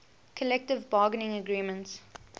collective bargaining agreement